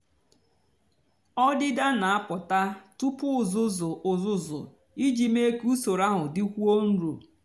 ọdịdá nà-àpụta túpú uzuzu uzuzu íjì mée kà usoro áhụ dịkwúó nro.